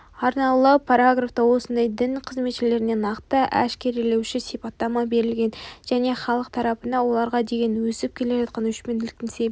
арнаула параграфта осындай дін қызметшілеріне нақты әшкерелеуші сипаттама берілген және халық тарапынан оларға деген өсіп келе жатқан өшпенділіктің себебін